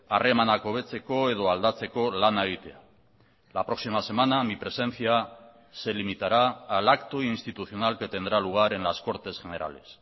harremanak hobetzeko edo aldatzeko lana egitea la próxima semana mi presencia se limitará al acto institucional que tendrá lugar en las cortes generales